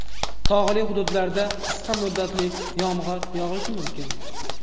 Tog‘li hududlarda qisqa muddatli yomg‘ir yog‘ishi mumkin.